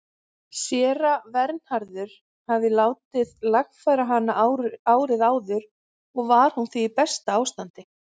Séra Vernharður hafði látið lagfæra hana árið áður og var hún því í besta ástandi.